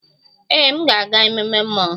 Ee, m ga-aga ememme mmọnwụ